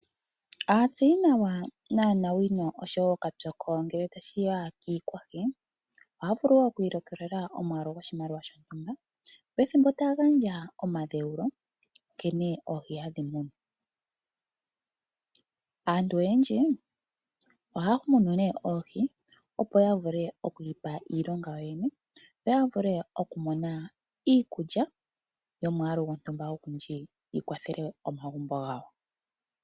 Aatseyinawa naanawino oshowo ookapyoko ngele tashiya kiikwahi ohaya vulu okwiilikolela omwaalu goshimaliwa shontumba pethimbo taya gandja omadheulo nkene oohi hadhi munwa. Aantu oyendji ohaya munu oohi, opo ya vule okwiipa iilonga yo yene ya vule oku mona iikulya yomwaalu gontumba ogundji yi kwathela omagumbo gawo.